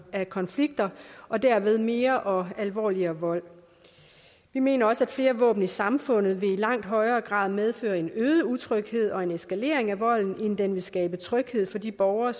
af konflikter og dermed til mere og alvorligere vold vi mener også at flere våben i samfundet i langt højere grad vil medføre en øget utryghed og en eskalering af volden end den vil skabe tryghed for de borgere